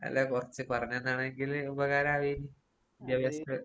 അല്ല കൊറച്ച് പറഞ്ഞ് തന്നാണെങ്കില് ഉപകാരാവേന്നു. വിദ്യാഭ്യാസത്തിന്റെ